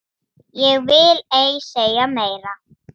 Ég vil ei segja meira.